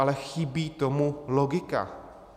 Ale chybí tomu logika.